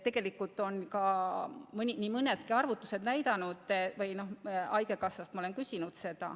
Ma olen haigekassast selle kohta küsinud.